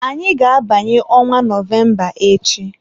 Anyị ga-abanye ọnwa Nọvemba echi.